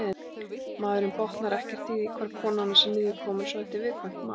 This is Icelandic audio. Maðurinn botnar ekkert í því hvar konan hans er niðurkomin svo þetta er viðkvæmt mál.